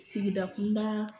Sigida kunda